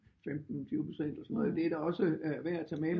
15 20% det er da også værd at tage med